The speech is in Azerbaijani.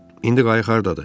İndi qayıq hardadır?